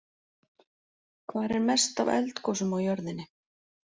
Hvar er mest af eldgosum á jörðinni?